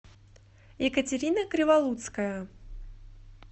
екатерина криволуцкая